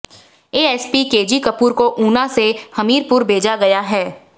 ASP K G Kapoor को ऊना से हमीरपुर भेजा गया है